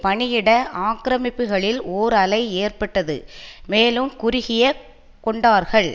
பணியிட ஆக்கிரமிப்புகளில் ஓர் அலை ஏற்பட்டது மேலும் குறுகிய கொண்டார்கள்